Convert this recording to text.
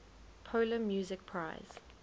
polar music prize